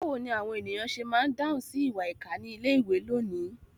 Báwo ni àwọn ènìyàn ṣe máa ń dáhùn sí ìwà ìkà ní ilé-ìwé lónìí?